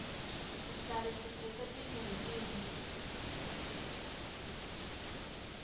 sihlale siphetse tintfo letinhle